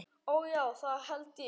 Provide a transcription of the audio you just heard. Ó, já, það held ég.